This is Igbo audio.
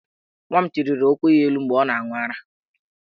Nwa m chiliri ụkwụ ya elu, mgbe ọ na-aṅụ ara,.